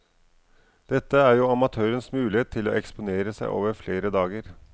Dette er jo amatørens mulighet til å eksponere seg over flere dager.